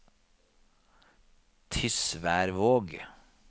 Tysværvåg